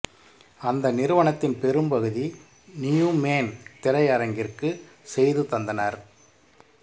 அந்த நிறுவனத்தின் பெரும் பகுதி நியூமேன் திரையரங்கிற்கு செய்து தந்தனர்